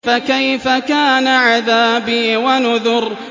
فَكَيْفَ كَانَ عَذَابِي وَنُذُرِ